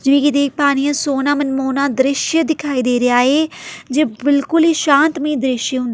ਜੀ ਦੇਖ ਪਾ ਰਹੀ ਏ ਸੋਨਾ ਮਨਮੋਹਨਾ ਦ੍ਰਿਸ਼ ਦਿਖਾਈ ਦੇ ਰਿਹਾ ਹੈ ਜੇ ਬਿਲਕੁਲ ਹੀ ਸ਼ਾਂਤਮਈ ਦ੍ਰਿਸ਼--